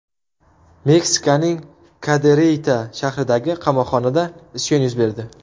Meksikaning Kadereyta shahridagi qamoqxonada isyon yuz berdi.